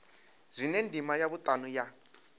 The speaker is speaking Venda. zwine ndima ya vhutanu ya